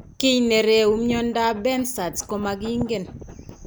Kiiy ne reewu myondap Behcet's komakiinken.